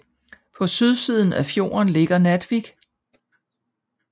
På sydsiden af fjorden ligger Naddvik